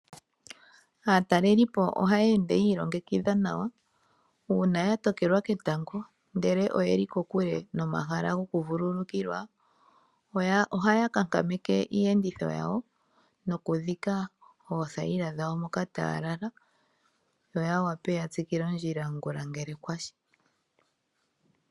Aatelelipo ohaya ende yiilongekidha nawa uuna ya tokelwa ketango ndele oye li kokule nomahala gokuvululukila, ohaya kankameke iiyenditho yawo nokudhika ootenda dhawo moka taya lala, yo ya wape okutsikila ondjila ngula ngele kwa shi.